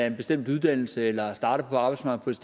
en bestemt uddannelse eller er startet på arbejdsmarkedet